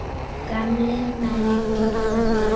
Gamlir menn grétu.